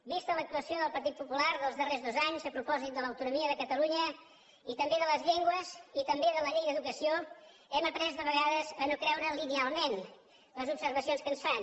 vista l’actuació del partit popular dels darrers dos anys a propòsit de l’autonomia de catalunya i també de les llengües i també de la llei d’educació hem après de vegades a no creure lineal ment les observacions que ens fan